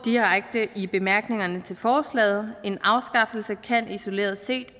i bemærkningerne til forslaget en afskaffelse kan isoleret set